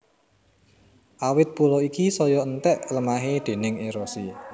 Awit pulo iki saya enthèk lemahé déning érosi